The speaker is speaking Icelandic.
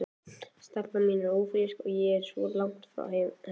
Stelpan mín ófrísk og ég svo langt frá henni.